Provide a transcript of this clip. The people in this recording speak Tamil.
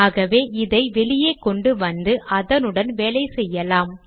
ஆகவே இதை வெளியே கொண்டு வந்து அதனுடன் வேலை செய்யலாம்